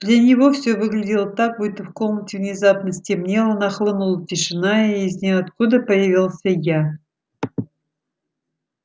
для него всё выглядело так будто в комнате внезапно стемнело нахлынула тишина и из ниоткуда появился я